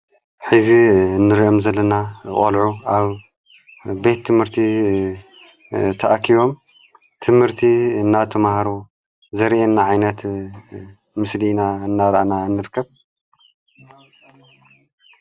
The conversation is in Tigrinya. ሐዚ እንርኦም ዘለና ቖልዑ ኣብ ቤት ትምህርቲ ተኣኪቦም ትምህርቲ እናተምሃሩ ዘርአን ዓይነት ምስሊና እናራአና እንርከብ።